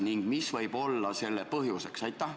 Ning mis võib olla lahknevuse põhjus?